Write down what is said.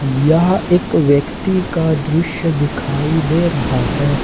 यह एक व्यक्ति का दृश्य दिखाई दे रहा हैं।